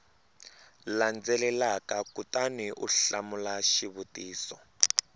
landzelaka kutani u hlamula xivutiso